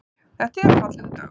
Þetta er fallegur dagur.